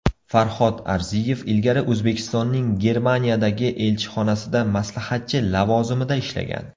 Farhod Arziyev ilgari O‘zbekistonning Germaniyadagi elchixonasida maslahatchi lavozimida ishlagan.